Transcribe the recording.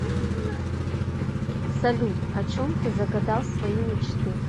салют о чем ты загадал свои мечты